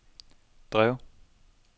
drev